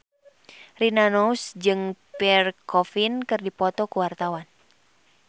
Rina Nose jeung Pierre Coffin keur dipoto ku wartawan